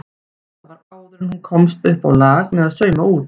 Þetta var áður en hún komst uppá lag með að sauma út.